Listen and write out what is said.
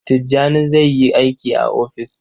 Tijjani zai yi aiki a ofis.